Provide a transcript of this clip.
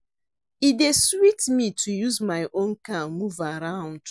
E dey sweet me to use my own car move around.